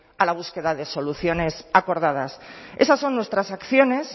a la búsqueda de soluciones acordadas esas son nuestras acciones